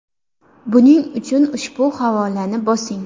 Buning uchun ushbu havolani bosing: .